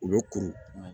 U bɛ kuru